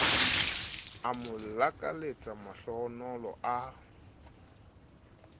o mo lakaletsa mahlohonolo a